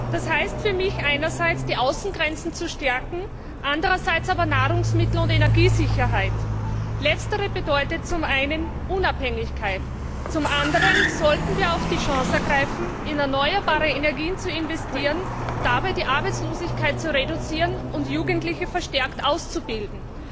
Das heißt für mich einerseits, die Außengrenzen zu stärken, andererseits aber, die Nahrungsmittel und Energiesicherheit zu gewährleisten. Letzteres bedeutet zum einen Unabhängigkeit, zum anderen sollten wir aber auch die Chance ergreifen, in erneuerbare Energien zu investieren, dabei die Arbeitslosigkeit zu reduzieren und Jugendliche verstärkt auszubilden.